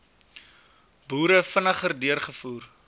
boere vinniger deurgevoer